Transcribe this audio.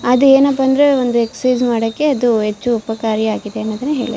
ಅದು ಏನಪ್ಪಾ ಅಂದ್ರೆ ಒಂದು ಎಕ್ಸಾಯ್ಸ್ ಮಾಡಾಕೆ ಅದು ಹೆಚ್ಚು ಉಪಕಾರಿಯಾಗಿದೆ ಅನ್ನೋದನ್ನ ಹೇಳುತ್ತೆ.